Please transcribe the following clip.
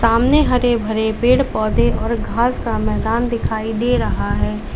सामने हरे भरे पेड़ पौधे और घास का मैदान दिखाई दे रहा है।